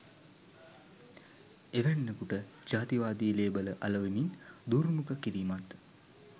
එවැන්නකුට ජාතිවාදී ලේබල අලවමින් දුර්මුඛ කිරීමත්